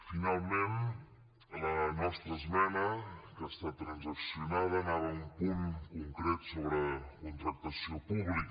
finalment la nostra esmena que ha estat transaccionada anava a un punt concret sobre contractació pública